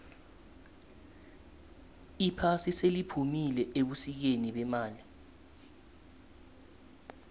iphasi seliphumile ebusikeni bemali